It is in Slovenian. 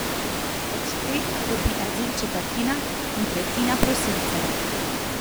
Od teh dobi azil četrtina ali tretjina prosilcev.